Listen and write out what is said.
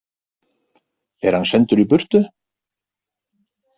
Er hann sendur í burtu?